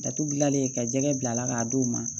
Datugu gilan ka jɛgɛ bila ka d'u ma